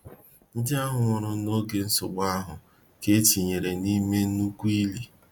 Ndi ahu nwuru na oge nsogbu ahu ka a tunyere nime nnukwu ili.